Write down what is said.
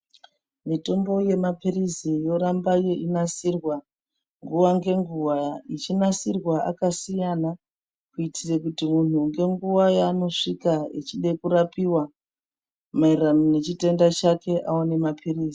Mitombo yemaphirisi yoramba inasirwa nguwa ngenguwa. Ichinasirwa akasiyana kuitire kuti munhu ngenguwa yanoswika echide kurapiwa, mayererano ngechitenda chake awane maphirisi.